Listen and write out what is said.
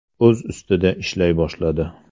O‘z ustida ishlay boshladi.